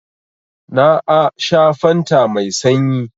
Na a sha fanta mai sanyi.